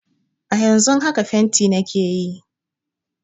A yanzun haka fenti nake yi